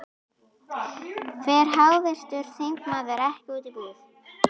Fer háttvirtur þingmaður ekki út í búð?